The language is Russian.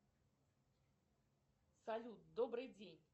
салют добрый день